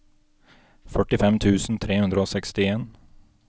førtifem tusen tre hundre og sekstien